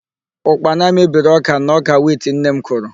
Ụkpana mebiri ọ́kà na ọ́kà wit nne m kụrụ.